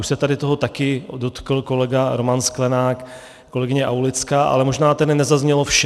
Už se tady toho taky dotkl kolega Roman Sklenák, kolegyně Aulická, ale možná tady nezaznělo vše.